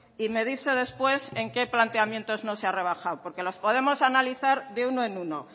y me dice después en qué planteamientos no se ha rebajado porque los podemos analizar de uno en uno